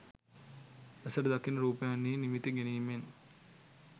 ඇසට දකින රූපයන්හි නිමිති ගැනීමෙන්